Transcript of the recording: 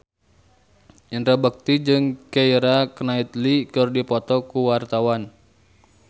Indra Bekti jeung Keira Knightley keur dipoto ku wartawan